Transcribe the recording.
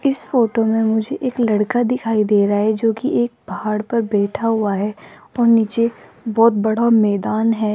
इस फोटो मे मुझे एक लड़का दिखाई दे रहा है जो की एक पहाड़ पर बैठा हुआ है और नीचे बहोत बड़ा मैदान है।